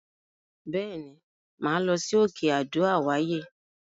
Bẹ́ẹ̀ ni, màá lọ sí òkè Adó àwáyè.